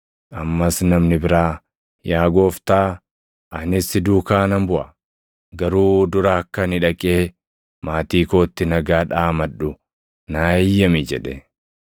Ammas namni biraa, “Yaa Gooftaa, anis si duukaa nan buʼa; garuu dura akka ani dhaqee maatii kootti nagaa dhaamadhu naa eeyyami” jedhe.